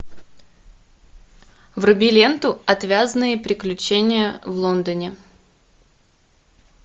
вруби ленту отвязные приключения в лондоне